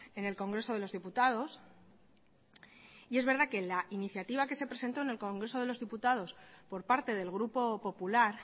en el congreso de los diputados y es verdad que la iniciativa que se presentó en el congreso de los diputados por parte del grupo popular